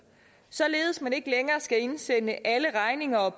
således at man ikke længere skal indsende alle regninger og